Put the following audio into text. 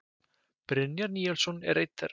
Brynjar Níelsson er einn þeirra.